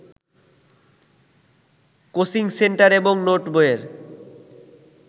coaching centre এবং নোটবইয়ের